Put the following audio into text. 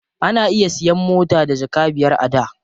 Ana iya siyan mota da jaka biyar a da.